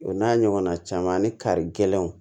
O n'a ɲɔgɔnna caman ni kari gɛlɛnw